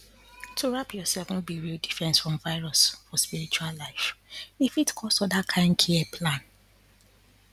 to wrap yourself no be real defense from virus for spiritual life e fit cause other kind care plan